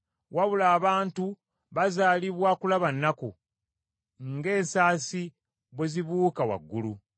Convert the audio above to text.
wabula abantu bazaalibwa kulaba nnaku, ng’ensasi bwe zibuuka waggulu.